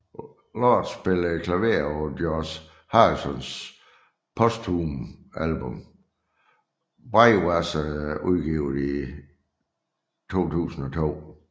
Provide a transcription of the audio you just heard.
Lord spillede klaver på George Harrisons posthume album Brainwashed udgivet i 2002